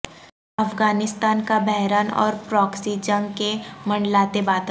افغانستان کا بحران اور پراکسی جنگ کے منڈلاتے بادل